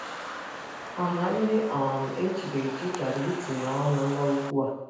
Ọha ndị um echiri echi chọrọ itinye ọnụ N'okwụ a.